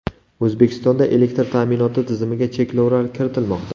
O‘zbekistonda elektr ta’minoti tizimiga cheklovlar kiritilmoqda.